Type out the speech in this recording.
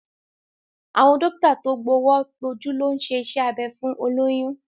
Àwọn dókítà tó gbówọ́ gbójú ló ń ṣe iṣẹ́ abẹ fún olóyún